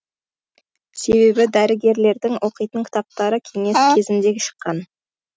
себебі дәрігерлердің оқитын кітаптары кеңес кезінде шыққан